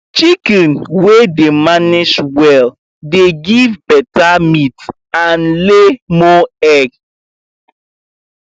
chicken wey dem manage well dey give better meat and lay more egg